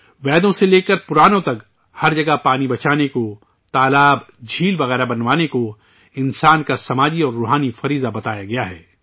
ویدوں سے لے کر پرانوں تک، ہر جگہ پانی بچانے کو، تالاب، سروور وغیرہ بنوانے کو، انسانوں کا سماجی اور روحانی فریضہ بتایا گیا ہے